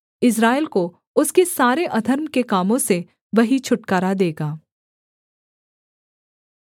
इस्राएल को उसके सारे अधर्म के कामों से वही छुटकारा देगा